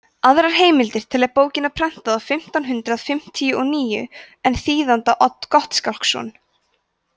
aðrar heimildir telja bókina prentaða fimmtán hundrað fimmtíu og níu en þýðanda odd gottskálksson